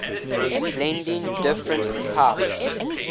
blending different types